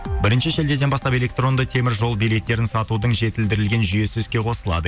бірінші шілдеден бастап электронды теміржол билеттерін сатудың жетілдірілген жүйесі іске қосылады